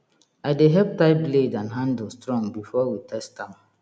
i dey help tie blade and handle strong before we test am